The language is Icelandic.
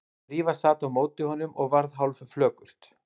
Drífa sat á móti honum og varð hálfflökurt.